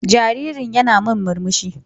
Jaririn yana min murmsuhi.